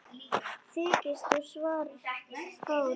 Þykkt og svart hár hennar.